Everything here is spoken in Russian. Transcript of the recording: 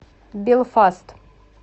белфаст